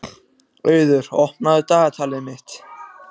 Auður, opnaðu dagatalið mitt.